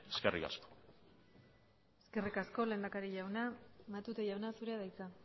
viable eskerrik asko eskerrik asko lehendakari jauna matute jauna zurea da hitza